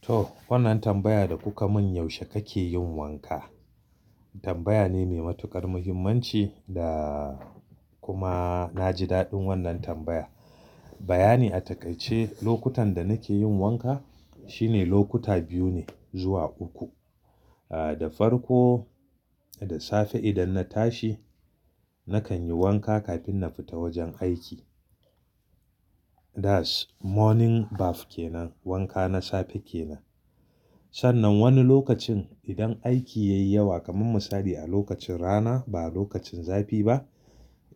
To wannan tambaya da kuka mun yaushe kake yin wanka? Tambaya ne mai matukar muhimmanci da kuma na ji daɗin wannan tambaya. Bayani a takaice lokutan da nake yin wanka shine lokuta biyu ne zuwa uku. Ah da farko da safe idan na tashi nakan yi wanka kafin na fita wajen aiki. That's morning bath kenan wanka na safe kenan. Sannan wani lokacin idan aiki ya yi yawa kamar misali a lokacin rana ba lokacin zafi ba.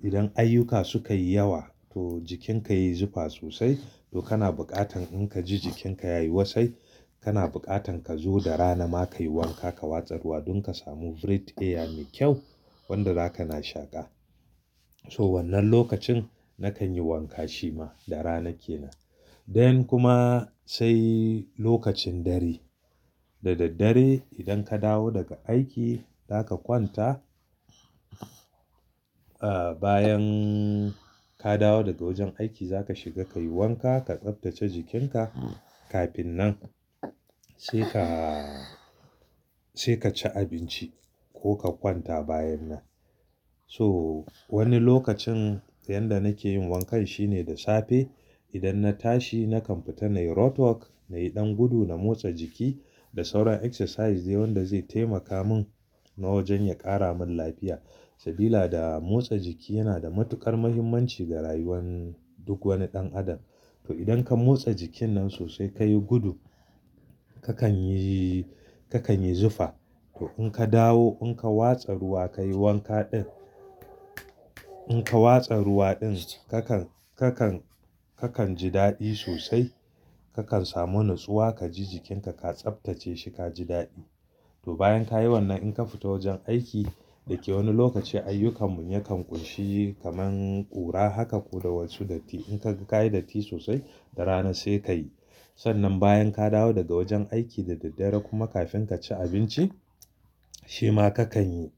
Idan ayyuka suka yi yawa to jikinka yayi zufa sosai to kana buƙatan in ka ji jikinka yayi wasai kana buƙatan ka zo da rana ma ka yi wanka ka watsa ruwa don ka samu breathe air mai kyau wanda zaka na shaƙa. So wannan lokacin nakan yi wanka shi ma da rana kenan. Dayan kuma sai lokacin dare. Da daddare idan ka dawo daga aiki zaka kwanta. Ah bayan ka dawo daga wajen aiki zaka shiga ka yi wanka ka tsaftace jikinka kafin nan sai ka, sai ka ci abinci ko ka kwanta bayan nan. So wani lokacin yayin da nake yin wankan shine da safe idan na tashi nakan fita nayi roadwork nayi ɗan gudu na motsa jiki da sauran exercise dayan da zai taimaka mun na wajen ya ƙara mun lafiya. Sabida motsa jiki yana da matukar muhimmanci ga rayuwar duk wani ɗan adam. To idan ka motsa jikin nan sosai kayi gudu kakan yi, kakan yi zufa. To in ka dawo in ka watsa ruwa kayi wanka ɗin. In ka watsa ruwa ɗin kakan, kakan, kakan ji daɗi sosai kakan samu natsuwa ka ji jikinka ka tsaftace shi ka ji daɗi. To bayan ka yi wannan in ka fita wajen aiki da ke wani lokaci ayyukan mu yakan ƙunshi kamar ƙura haka ko da wasu datti in ka kayi datti sosai da rana sai kayi. Sannan bayan ka dawo daga wajen aiki da daddare kuma kafin ka ci abinci shi ma kakan yi.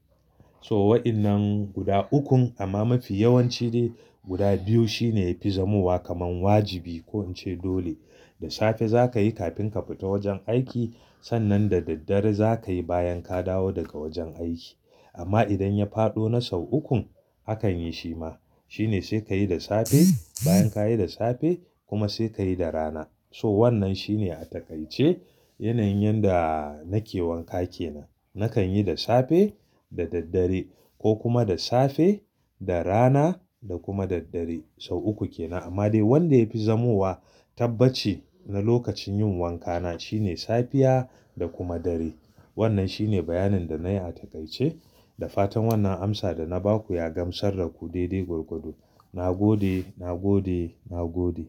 So waɗannan guda ukun amma mafi yawanci ne guda biyu shine yafi zamuwa kamar wajibi ko in ce dole. Da safe zakayi kafin ka fita wajen aiki. Sannan da daddare zakayi bayan ka dawo daga wajen aiki. Amma idan ya faɗo na sau ukun akan yi shi ma. Shine sai kayi da safe bayan kayi da safe kuma sai kayi da rana. So wannan shine a takaice yanayin yanda nake wanka kenan. Nakan yi da safe, da daddare ko kuma da safe, da rana da kuma daddare sau uku kenan. Amma dai wanda yafi zamuwa tabbaci na lokacin yin wankana shine safiya da kuma dare. Wannan shine bayanin da nayi a takaice. Da fatan wannan amsa da na baku ya gamsar da ku daidai gwargwado. Na gode, na gode, na gode.